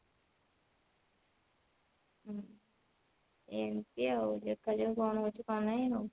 ଏମତି ଆଉ ଦେଖା ଯାଉ କଣ ହଉଛି କଣ ନାଇଁ ଆଉ